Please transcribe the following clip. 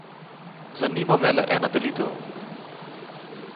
Zanima me le ena delitev.